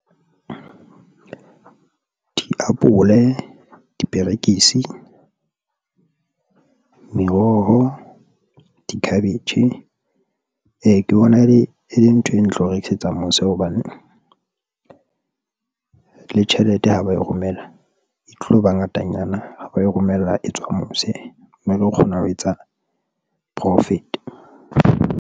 Diapole, diperekisi, meroho di-cabbage , ke bona e le e leng ntho e ntle eo rekisetsa mose hobane le tjhelete ha ba e romela e tloba ngatanyana ha ba e romella, e tswa mose mme ke kgona ho etsa profit.